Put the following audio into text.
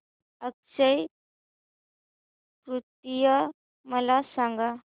अक्षय तृतीया मला सांगा